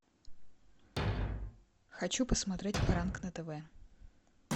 хочу посмотреть пранк на тв